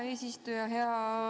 Hea eesistuja!